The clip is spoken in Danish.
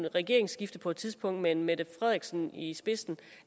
regeringsskifte på et tidspunkt med mette frederiksen i spidsen